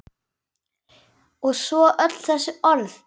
Og svo öll þessi orð.